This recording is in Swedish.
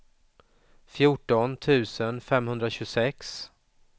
fjorton tusen femhundratjugosex